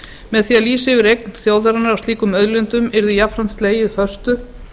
með því að lýsa yfir eign þjóðarinnar á slíkum auðlindum yrði jafnframt slegið föstu